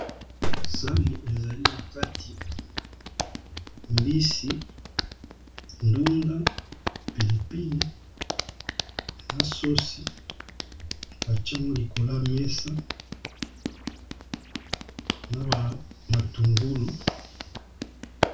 Sani ezali na kati mbisi, ndunda, pilipili na sosi batie yango likolo ya mesa na ba matungulu.